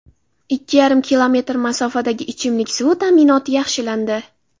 Ikki yarim kilometr masofadagi ichimlik suvi ta’minoti yaxshilandi.